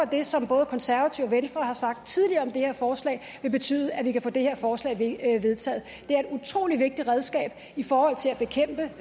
det som både konservative og venstre har sagt tidligere om det her forslag vil betyde at vi kan få det her forslag vedtaget det er et utrolig vigtigt redskab i forhold til